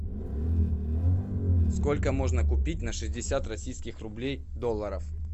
сколько можно купить на шестьдесят российских рублей долларов